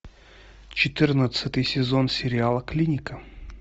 четырнадцатый сезон сериала клиника